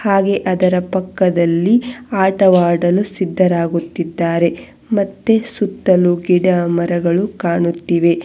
ಹಾಗೇ ಅದರ ಪಕ್ಕದಲ್ಲಿ ಆಟವಾಡಲು ಸಿದ್ದರಾಗುತ್ತಿದ್ದಾರೆ ಮತ್ತೆ ಸುತ್ತಲು ಗಿಡ ಮರಗಳು ಕಾಣುತ್ತಿವೆ.